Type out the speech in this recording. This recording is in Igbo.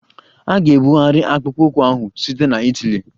A ga-ebugharị akpụkpọ ụkwụ ahụ site na Itali.